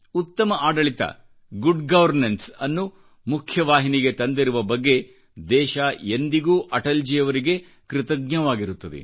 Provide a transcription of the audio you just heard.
ಉತ್ತಮ ಆಡಳಿತ ಅಂದರೆ ಗುಡ್ ಗವರ್ನನ್ಸ್ ಅನ್ನು ಮುಖ್ಯ ವಾಹಿನಿಗೆ ತಂದಿರುವ ಬಗ್ಗೆ ದೇಶ ಎಂದಿಗೂ ಅಟಲ್ಜಿಯವರಿಗೆ ಕೃತಜ್ಞವಾಗಿರುತ್ತದೆ